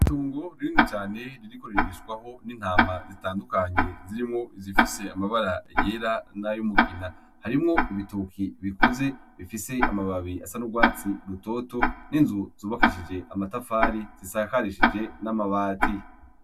Itongo ririni cane ririko ririshwaho n'intama zitandukanye zirimwo izifise amabara yera n'ayumugina, harimwo ibitoki bikuze bifise amababi asa n'urwatsi rutoto, n'inzu zobakishije amatafari zisakarishije n'amabati.